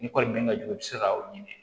Ni kɔni den ka jugu i bɛ se ka o ɲini